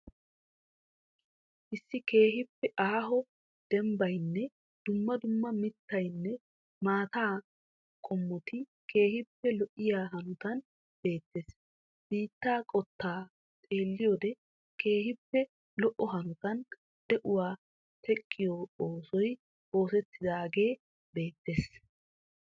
Issi keehiippe aaho dembbaynne dumma dumma mittanne maataa qommotti keehiipe lo'iyaa hanotan beettes. Biittaa qottaa xeelliyode keehiippe lo'o hanotan di'uwaa teqqiyo oosoy osettidaagee beettees.